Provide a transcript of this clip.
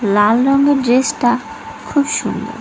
লাল রংয়ের ড্রেসটা খুব সুন্দর।